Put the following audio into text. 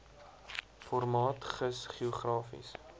formaat gis geografiese